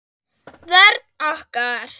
Vörn okkar